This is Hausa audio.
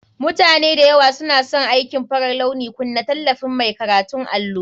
Mutane da yawa suna son aikin farar launi. Kunna tallafin mai karanta allo